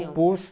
Poço.